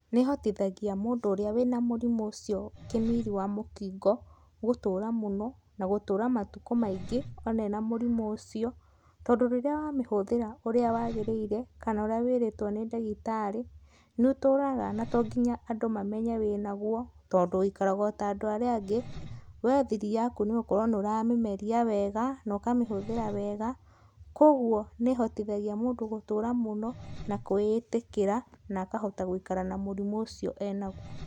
Nĩ ĩhotithagia mũndũ ũrĩa wĩna mũrimũ ũcio kĩmiri wa mũkingo gũtũũra mũno na gũtũũra matukũ maingĩ ona ena mũrimũ ũcio, tondũ rĩrĩa wamĩhũthĩra ũrĩa wagĩrĩire kana ũrĩa wĩrĩtwo nĩ ndagĩtarĩ, nĩũtũraga na to nginya andũ mamenye wĩnagwo, tondũ wĩikaraga ota andũ arĩa angĩ, we thiri yaku nĩgũkorwo nĩ ũramĩmeria wega nokamĩhũthĩra wega, kwogwo nĩ ĩhotithagia mũndũ gũtũũra mũno, na kwĩ ĩtĩkĩra na akahota gũikara na mũrimũ ũcio enaguo.